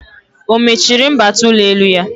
O mechiri mbata ụlọelu ya?